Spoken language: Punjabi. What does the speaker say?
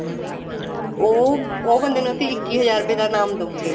ਉਹ ਉਹ ਬੰਦੇ ਨੂੰ ਅਸੀਂ ਇੱਕੀ ਹਜ਼ਾਰ ਰੁਪਏ ਦਾ ਇਨਾਮ ਦਉਗੇ